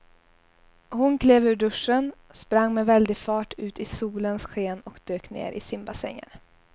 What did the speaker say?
Hon klev ur duschen, sprang med väldig fart ut i solens sken och dök ner i simbassängen.